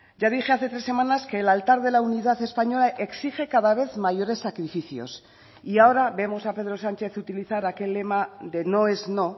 ya dije hace tres semanas que el altar de la unidad española exige cada vez mayores sacrificios y ahora vemos a pedro sánchez utilizar aquel lema de no es no